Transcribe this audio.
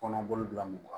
Kɔnɔbolo bila mɔgɔ